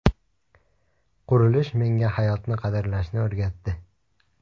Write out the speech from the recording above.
Qurilish menga hayotni qadrlashni o‘rgatdi”.